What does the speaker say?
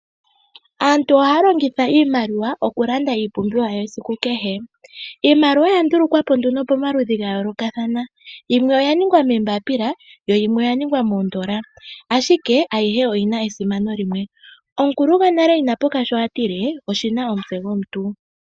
Aantu ohaya longitha iimaliwa okulanda iipumbiwa yesiku kehe. Iimaliwa oya ndulukwa po nduno pomaludhi ga yoolokathana. Yimwe oya ningwa moombapila yo yimwe oya ningwa moondola, ashike ayihe oyina esimano limwe. Omukulu gonale ina puka sho atile oshina omutse gomuntu.